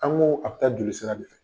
An ko a bɛ taa jolisira de fɛ.